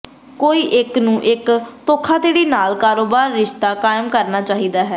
ਕੋਈ ਇੱਕ ਨੂੰ ਇੱਕ ਧੋਖਾਧੜੀ ਨਾਲ ਕਾਰੋਬਾਰ ਰਿਸ਼ਤਾ ਕਾਇਮ ਕਰਨਾ ਚਾਹੀਦਾ ਹੈ